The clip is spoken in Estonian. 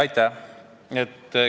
Aitäh!